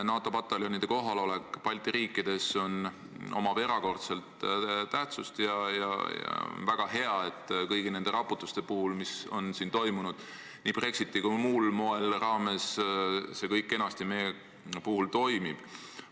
NATO pataljonide kohalolek Balti riikides on erakordselt tähtis ja on väga hea, et ka kõigi nende raputuste puhul, mis on toimunud nii Brexiti kui ka muul moel, see kõik kenasti meie puhul toimib.